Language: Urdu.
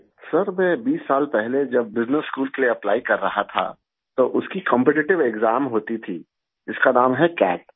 سر جب میں بیس سال پہلے بزنس اسکول کے لیے اپلائی کر رہا تھا، تو اس کا مقابلہ جاتی امتحان ہوتا تھا، جس کا نام ہے کیٹ